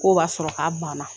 Ko b'a sɔrɔ k'a baana